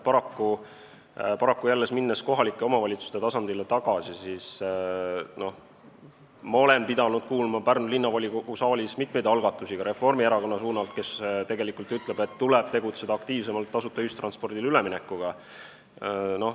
Paraku, minnes jälle kohalike omavalitsuste tasandile tagasi, ma olen pidanud kuulma Pärnu Linnavolikogu saalis mitmeid algatusi ka Reformierakonna poole pealt, et tuleb tegutseda aktiivsemalt tasuta ühistranspordile üleminekuga.